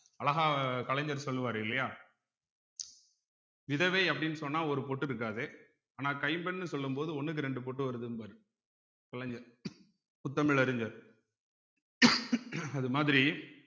அழகா கலைஞர் சொல்லுவாரு இல்லையா விதவை அப்படின்னு சொன்னா ஒரு பொட்டு இருக்காது ஆனா கைம்பெண்ணு சொல்லும் போது ஒண்ணுக்கு ரெண்டு பொட்டு வருதும்பாரு கலைஞர் முத்தமிழ் அறிஞர் அது மாதிரி